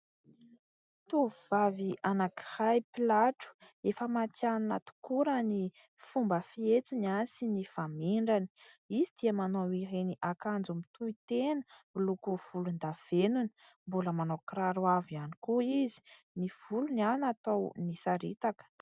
Tovovavy anankiray mpilatro, efa matihanana tokoa raha ny fomba fietsiny sy ny famindrany. Izy dia manao ireny akanjo mitohy tena miloko volon-davenona. Mbola manao kiraro avo ihany koa izy. Ny volony natao nisaritaka.